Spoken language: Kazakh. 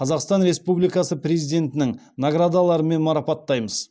қазақстан республикасы президентінің наградаларымен марапаттаймыз